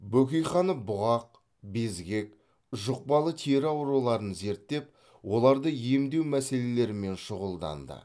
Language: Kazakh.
бөкейханов бұғақ безгек жұқпалы тері ауруларын зерттеп оларды емдеу мәселелерімен шұғылданды